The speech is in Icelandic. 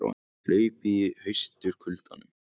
Hlaupið í haustkuldanum